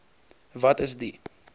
wat is die